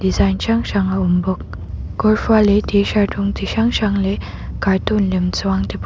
design hrang hrang a awm bawk kawr fual leh t-shirt rawng chi hrang hrang leh cartoon lem chuang te pawh --